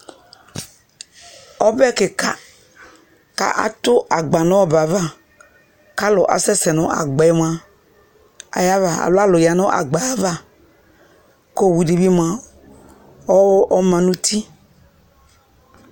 Ɔbɛ kɩka k'atʋ agba nʋ ɔbɛ yɛ ava, k'alʋ asɛsɛ nʋ agba yɛ mʋa ayava alo alʋ ya nʋ agba yɛ ava k'owudɩ bɩ mʋa ɔma n'uti